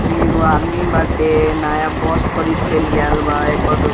ई एगो आदमी बाटे नया बस खरीद के ली आएल बा एकरो --